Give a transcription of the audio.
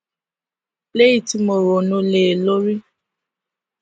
léyìn tí mo ronú lé e lórí